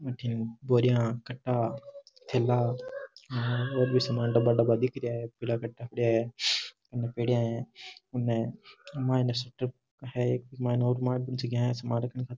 अठे बोरियां कट्टा थैला और भी सामान डब्बा डब्बा दिख रिया है पीला कट्टा पड़या है अने पेड़िया है उन्हें --